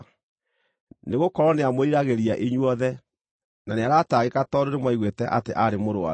Nĩgũkorwo nĩamwĩriragĩria inyuothe, na nĩaratangĩka tondũ nĩmwaiguĩte atĩ aarĩ mũrũaru.